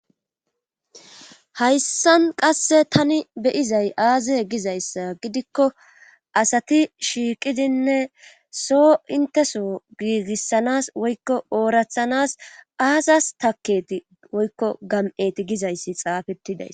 Hayssan qasse tani beyizay aaze giza issa gidikko asati shiiqidinne so inteso giigissanas woykko oorathanas ayiss taketi woykko gam'eti giza issi xaafeti days.